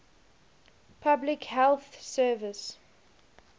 public health service